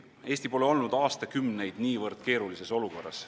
Eesti pole aastakümneid olnud niivõrd keerulises olukorras.